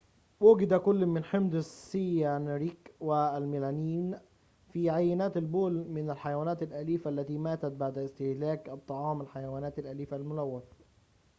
وُجد كلٌ من حمض السيانريك والملامين في عينات البول من الحيوانات الأليفة التي ماتت بعد استهلاك طعام الحيوانات الأليفة الملوث